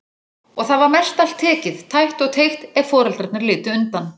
Og það var mestallt tekið, tætt og teygt, ef foreldrarnir litu undan.